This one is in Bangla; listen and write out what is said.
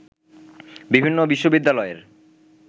বিভিন্ন বিশ্ববিদ্যালয়ের